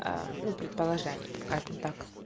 ну предположений скажем так